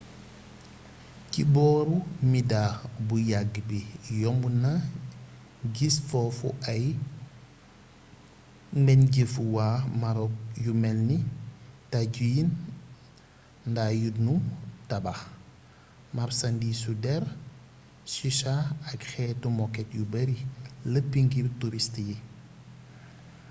ci booru midha bu yàgg bi yomb nag is foofu ay mbenjeefu waa marok yu melni tajin nda yu nu tabax marsandiisu der chicha ak xeeti moket yu bare lepp ngir turist yi